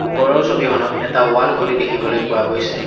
ওপৰৰ ছবিখনত এটা ৱাল ঘড়ী দেখিবলৈ পোৱা গৈছে।